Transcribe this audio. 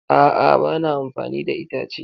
A'a, ba na amfani da itace.